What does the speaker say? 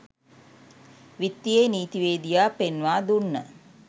විත්තියේ නීතිවේදියා පෙන්වා දුන්න